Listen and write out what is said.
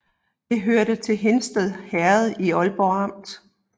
Det hørte til Hindsted Herred i Ålborg Amt